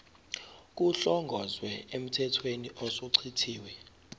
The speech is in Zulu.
kuhlongozwe emthethweni osuchithiwe